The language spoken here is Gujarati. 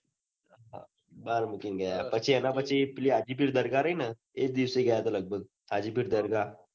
બાર મુકીને ગયાં પછી એના પછી હાજીકી દરગાહ રહીને એજ દિવસે ગયા હતા લગભગ હાજીકીદરગાહ